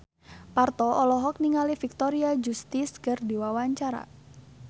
Parto olohok ningali Victoria Justice keur diwawancara